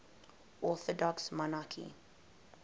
orthodox monarchs